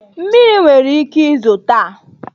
Mmiri nwere ike izo nta